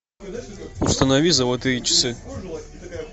установи золотые часы